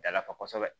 Dalafa kosɛbɛ